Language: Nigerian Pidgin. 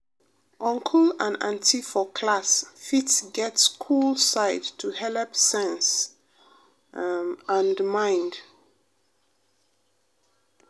uncle and auntie for class fit get cool side to helep sense um and mind.